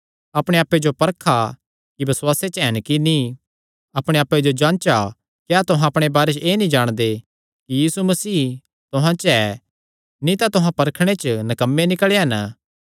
अपणे आप्पे जो परखा कि बसुआसे च हन कि नीं अपणे आप्पे जो जांचा क्या तुहां अपणे बारे च एह़ नीं जाणदे कि यीशु मसीह तुहां च ऐ नीं तां तुहां परखणे च नकम्मे निकल़े हन